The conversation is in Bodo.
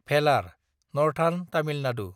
भेलार (नर्थार्न तामिल नादु)